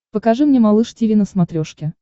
покажи мне малыш тиви на смотрешке